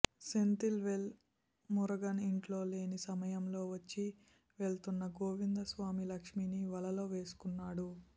సెంథిల్ వేల్ మురుగన్ ఇంట్లో లేని సమయంలో వచ్చి వెలుతున్న గోవిందస్వామి లక్ష్మీని వలలో వేసుకున్నాడు